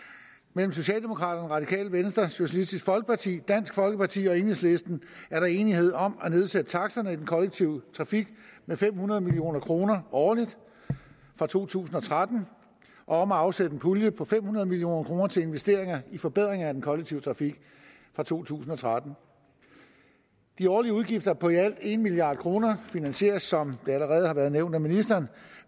mellem socialdemokraterne radikale venstre socialistisk folkeparti dansk folkeparti og enhedslisten er der enighed om at nedsætte taksterne i den kollektive trafik med fem hundrede million kroner årligt fra to tusind og tretten og om at afsætte en årlig pulje på fem hundrede million kroner til investeringer i forbedringer af den kollektive trafik fra to tusind og tretten de årlige udgifter på i alt en milliard kroner finansieres som det allerede er blevet nævnt af ministeren